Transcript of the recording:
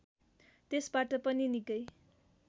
त्यसबाट पनि निकै